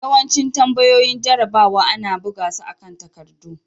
Yawancin tambayoyin jarrabawa ana buga su akan takardu.